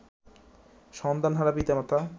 সন্তানহারা পিতা-মাতা